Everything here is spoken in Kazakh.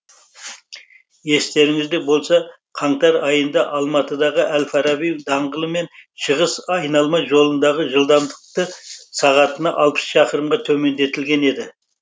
естеріңізде болса қаңтар айында алматыдағы әл фараби даңғылы мен шығыс айналма жолындағы жылдамдықты сағатына алпыс шақырымға төмендетілген еді